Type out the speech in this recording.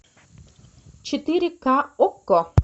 четыре ка окко